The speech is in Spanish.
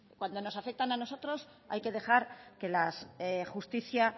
cuando nos afectan a nosotros hay que dejar que la justicia